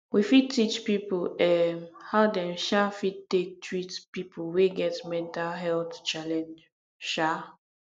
we fit teach pipo um how dem um fit take treat pipo wey get mental health challenge um